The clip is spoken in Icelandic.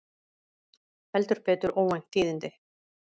Heldur betur óvænt tíðindi